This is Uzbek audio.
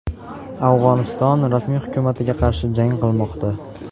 Afg‘oniston rasmiy hukumatiga qarshi jang qilmoqda.